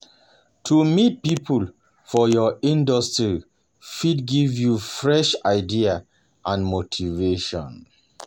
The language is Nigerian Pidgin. To meet people for your industry fit give you fresh ideas and motivation.